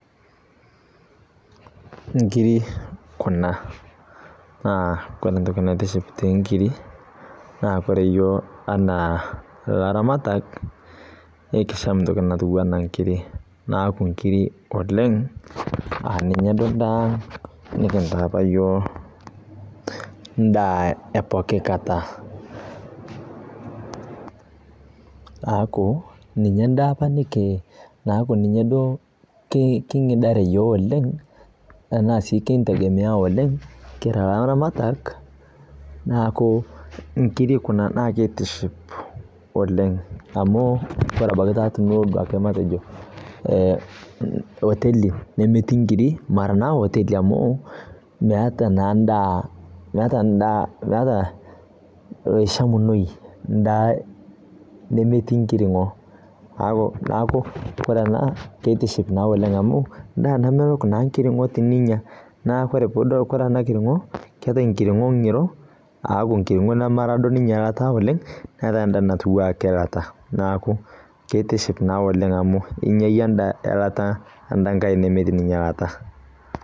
Inkiri Kuna, naa Kore entoki naitiship too inkiri, naa ore iyiok anaa ilairamatak nekisham entoki natiu anaa inkiri. Neaku inkiri oleng' endaa nikintaa opa iyiok endaa e pooki kata. Neaku ninye opa endaa naaku ninye duo king'idare iiyiok oleng' anaa sii kintegemea oleng' kira naa ilairamatak. Neaku inkiri Kuna naake neitiship oleng' amu, Kore ebaiki tiniyou taa matejo oteli nemetii inkirik, mera naa oteli amuu meata naa endaa maishamu toki ndaa nemetii enkiring'o. Neaku ore ene keitiship naa oleng' amu endaa namelok naa enkiring'o teninya, neaku ore ena kiring'o , keatai enkiring'o ng'iro aaku taa Mera duo ninye sidai oleng', neatai enda natiu ake eilata, neaku keitiship naa oleng' amu inyayie endaa eilata netii ninye eilata.